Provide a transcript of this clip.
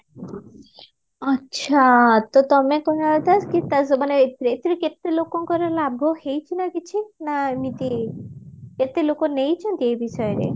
ଆଚ୍ଛା ତ ତମେ କହିବା କଥା କି ତା ମାନେ ଏଥିରେ ଏହତିରେ କେତେ ଲୋକଙ୍କର ଲାଭ ହେଇଚି ନାଁ କିଛି ନାଁ ଏମିତି କେତେ ଲୋକ ନେଇଚନ୍ତି ଏ ବିଷୟରେ